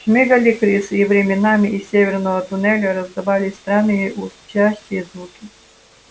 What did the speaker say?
шмыгали крысы и временами из северного туннеля раздавались странные урчащие звуки